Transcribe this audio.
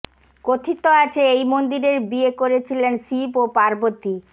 কথিত আছে এই মন্দিরেই বিয়ে করেছিলেন শিব ও পার্বতী